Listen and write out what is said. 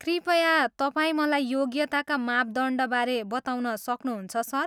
कृपया तपाईँ मलाई योग्यता मापदण्डबारे बताउन सक्नुहुन्छ, सर?